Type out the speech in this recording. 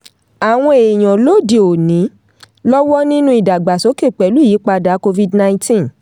àwọn èèyàn lóde òní lọ́wọ́ nínú ìdàgbàsókè pẹ̀lú ìyípadà covid- ninenteen.